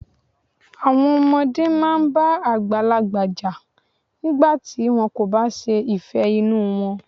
Àwọn ọmọdé máa ń bá àgbàlagbà jà nígbà tí wọ́n kò bá ṣe ìfẹ́ inú wọn.